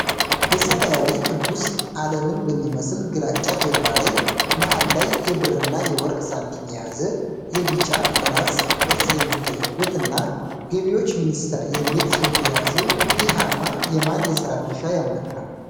በሰማያዊ ክብ ውስጥ፣ ዓለምን በሚመስል ግራጫ ጀርባ ላይ፣ መሃል ላይ የብርና የወርቅ ሳንቲም የያዘ የ ቢጫ ፍላጻ ቅርፅ የሚታይበት እና "ገቢዎች ሚኒስቴር" የሚል ጽሑፍ የያዘው ይህ አርማ የማን የሥራ ድርሻ ያመለክታል?